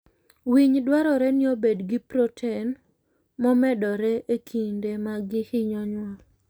Winy dwarore ni obed gi protein momedore e kinde ma gihinyo nyuol.